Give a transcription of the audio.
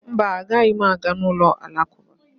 Mba, anaghị m aga n'ụlọ Alakụba